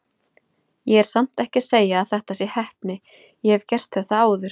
Ég er samt ekki að segja að þetta sé heppni, ég hef gert þetta áður.